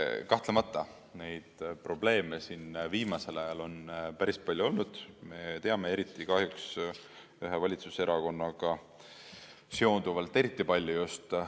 Kahtlemata neid probleeme siin viimasel ajal on päris palju olnud, me teame, et kahjuks eriti palju just ühe valitsuserakonnaga seonduvalt.